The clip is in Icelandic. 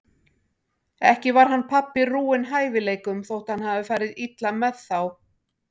Ekki var hann pabbi rúinn hæfileikum þótt hann hafi farið illa með þá.